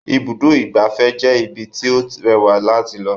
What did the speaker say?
Ibùdó ìgbafẹ́ jẹ́ ibí tí ó rẹwà láti lọ